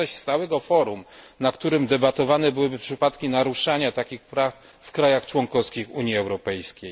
Nie ma zaś stałego forum, na którym debatowane byłyby przypadki naruszania takich praw w państwach członkowskich Unii Europejskiej.